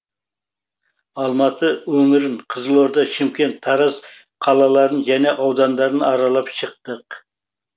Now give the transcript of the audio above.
алматы өңірін қызылорда шымкент тараз қалаларын және аудандарын аралап шықтық